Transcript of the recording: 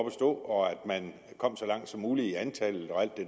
at stå og at man kom så langt som muligt i antallet og alt det